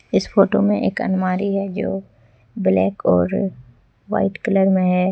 इस फोटो में एक अलमारी है जो ब्लैक और वाइट कलर में है।